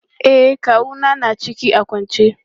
E, kawu na ya na ciki a kwance.